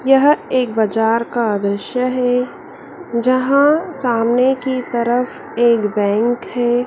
यह एक बाजार का दृश्य है जहां सामने की तरफ एक बैंक है।